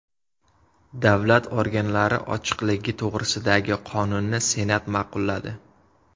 Davlat organlari ochiqligi to‘g‘risidagi qonunni Senat ma’qulladi.